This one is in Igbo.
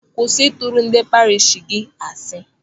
Kwụsị ịtụrụ ndị parish gị asị!